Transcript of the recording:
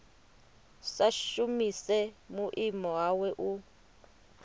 sa shumise vhuimo hawe u